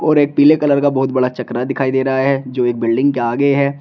परेक पीले कलर का बहोत बड़ा चक्रा दिखाई दे रहा है जो एक बिल्डिंग के आगे है।